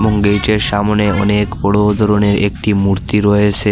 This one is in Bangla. গেটের সামোনে অনেক বড় ধরনের একটি মূর্তি রয়েসে।